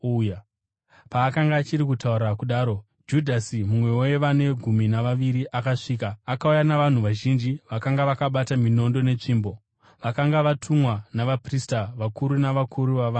Paakanga achiri kutaura kudaro, Judhasi, mumwe wevane gumi navaviri akasvika. Akauya navanhu vazhinji vakanga vakabata minondo netsvimbo, vakanga vatumwa navaprista vakuru navakuru vavanhu.